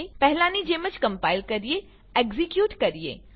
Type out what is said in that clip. પહેલાની જેમ કમ્પાઈલ કરીએ એક્ઝીક્યુટ કરીએ